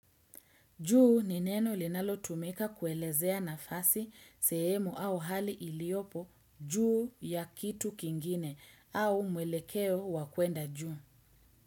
Juu ni neno linalotumika kuelezea nafasi, sehemu au hali iliyopo juu ya kitu kingine au mwelekeo wa kuenda juu.